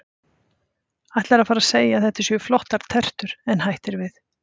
Ætlar að fara að segja að þetta séu flottar tertur en hættir við.